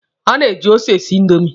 A na-eji ose e si indomi.